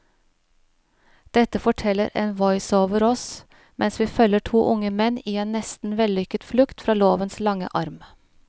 Dette forteller en voiceover oss mens vi følger to unge menn i en nesten vellykket flukt fra lovens lange arm.